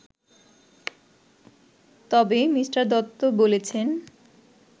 তবে মি দত্ত বলেছেন